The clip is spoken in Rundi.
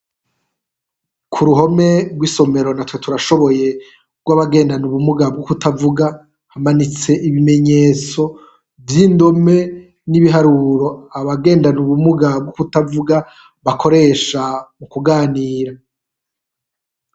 Ku ruhome gw'isomero natwe turashoboye gw'abagendana ubumuga bwo kutavuga hamanitse ibimenyetso vy'indome, n'ibiharuro abagendana ubumuga bw'ukutavuga bakoresha m'ukuganira.